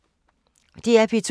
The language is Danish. DR P2